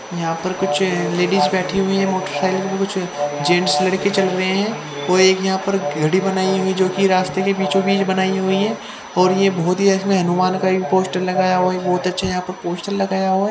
यहाँ पर कुछ लेडीज बैठी हुई है वो खेल कुछ जेंट्स लड़के किचन में वो एक यहाँ पर घड़ी बनाई हुई है जो की रास्ते के बीचो बिच बनाई हुई है और ये बहोत ही इसमें अनुमान करीब कोष्ठक लगाया हुआ बहोत अच्छे यहाँ पर पोस्टर लगाया हुआ--